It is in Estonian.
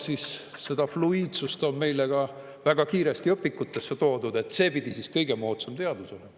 Ja seda fluiidsust on meile ka väga kiiresti õpikutesse toodud, see pidi siis kõige moodsam teadus olema.